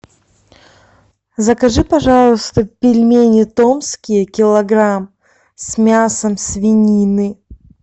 закажи пожалуйста пельмени томские килограмм с мясом свинины